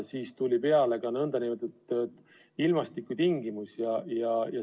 Ja siis lisandusid veel nn ilmastikutingimused.